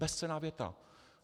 Bezcenná věta.